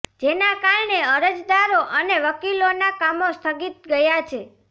જેના કારણે અરજદારો અને વકિલોના કામો સ્થગિત ગયા છે